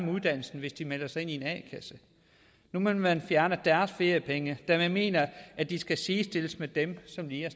uddannelsen hvis de melder sig ind i en a kasse nu vil man fjerne deres feriepenge da man mener at de skal sidestilles med dem som lige